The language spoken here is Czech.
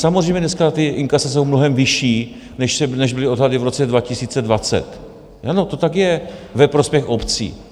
Samozřejmě dneska ta inkasa jsou mnohem vyšší, než byly odhady v roce 2020 - ano, to tak je - ve prospěch obcí.